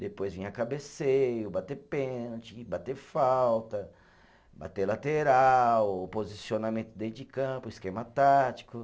Depois vinha cabeceio, bater pênalti, bater falta, bater lateral, posicionamento dentro de campo, esquema tático.